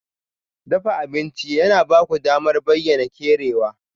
Dafa abinci yana ba ku damar bayyana kerawa.